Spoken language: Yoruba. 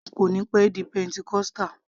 Jim kò níí pẹ́ di pentecostal